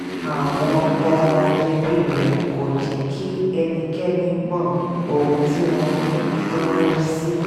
àwọn ọmọ ẹbí rẹ̀ kò jẹ́ kí ẹnikẹ́ni mọ ohun tí wọ́n ń náwó sí